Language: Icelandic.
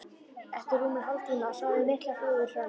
Eftir rúman hálftíma sáu þau miklar flúðir framundan.